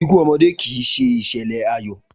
Ikú omodé kì í se ìsèlè ayò